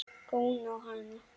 Góni á hana.